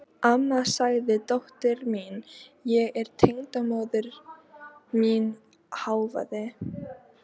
Amma sagði dóttir mín, en tengdamóðir mín hváði.